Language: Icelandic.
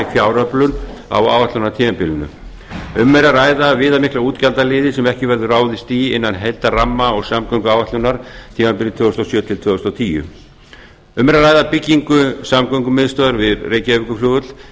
fjáröflun á áætlunartímabilinu um er að ræða viðamikla útgjaldaliði sem ekki verður ráðist í innan heildarramma og samgönguáætlunar tímabilið tvö þúsund og sjö til tvö þúsund og tíu um er að ræða byggingu samgöngumiðstöðvar við reykjavíkurflugvöll